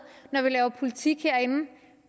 når vi laver politik herinde